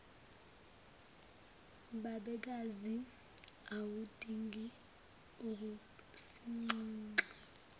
babekazi awudingi ukusinxenxa